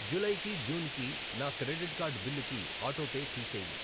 July కి, June కి, నా క్రెడిట్ కార్డు బిల్లుకి ఆటోపే తీసేయి.